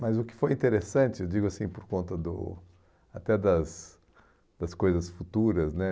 Mas o que foi interessante, eu digo assim, por conta do até das das coisas futuras, né?